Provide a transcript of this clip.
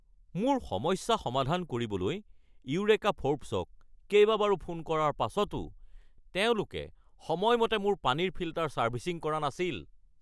মোৰ সমস্যা সমাধান কৰিবলৈ ইউৰেকা ফ'ৰ্বছক কেইবাবাৰো ফোন কৰাৰ পাছতো তেওঁলোকে সময়মতে মোৰ পানীৰ ফিল্টাৰ ছাৰ্ভিচিং কৰা নাছিল।